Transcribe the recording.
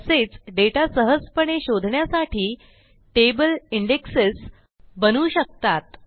तसेच डेटा सहजपणे शोधण्यासाठी टेबल इंडेक्सेस बनवू शकतात